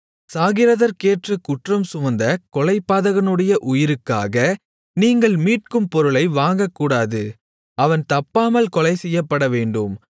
சாகிறதற்கேற்ற குற்றம் சுமந்த கொலைபாதகனுடைய உயிருக்காக நீங்கள் மீட்கும் பொருளை வாங்கக்கூடாது அவன் தப்பாமல் கொலைசெய்யப்படவேண்டும்